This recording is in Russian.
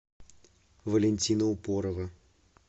валентина упорова